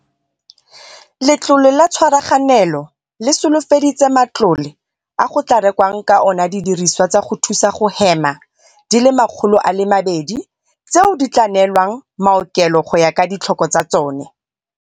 Letlole la Tshwaraganelo le solofeditse matlole a go tla rekwang ka ona didirisiwa tsa go thusa go hema di le 200, tseo di tla neelwang maokelo go ya ka ditlhoko tsa tsone.